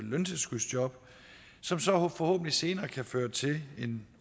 løntilskudsjob som så forhåbentlig senere kan føre til en